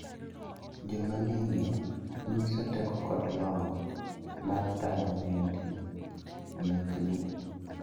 Jomamio nyiso teko kod lony mar tayo ohendni mekgi.